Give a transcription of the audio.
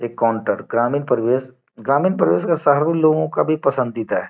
एक काउन्टर ग्रामीण परिवेश ग्रामीण परिवेश शहरी लोगो का भी पसंदीता है।